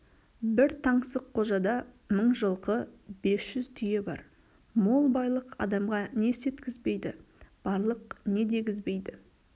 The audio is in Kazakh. бір таңсыққожада мың жылқы бес жүз түйе бар мол байлық адамға не істеткізбейді барлық не дегізбейді